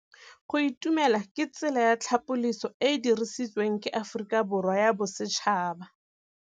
Go itumela ke tsela ya tlhapolisô e e dirisitsweng ke Aforika Borwa ya Bosetšhaba.